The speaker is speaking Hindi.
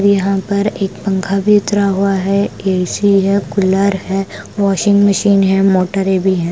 यहाँ पर एक पंखा भी उतरा हुआ है ए_सी है कूलर है वॉशिंग मशीन है मोटरे भी है।